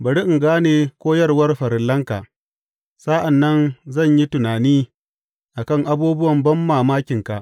Bari in gane koyarwar farillanka; sa’an nan zan yi tunani a kan abubuwan banmamakinka.